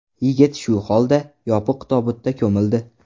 Yigit shu holda, yopiq tobutda ko‘mildi.